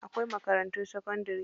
Akwai makarantun sakandari.